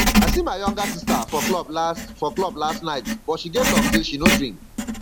i see my younger sister for club last for club last night but she get luck say she no drink